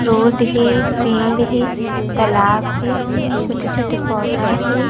Road हे पेड़ हे तालाब हे छोटे-छोटे पौधा हे।